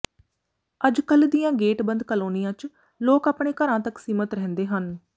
ਅੱਜ ਕੱਲ੍ਹ ਦੀਆਂ ਗੇਟ ਬੰਦ ਕਾਲੋਨੀਆਂ ਚ ਲੋਕ ਆਪਣੇ ਘਰਾਂ ਤਕ ਸੀਮਤ ਰਹਿੰਦੇ ਹਨ